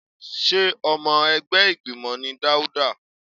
Sé ọmọ ẹgbẹ́ ìgbìmọ̀ ni Daudu?